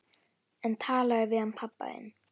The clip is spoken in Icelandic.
En talaðu við hann pabba þinn.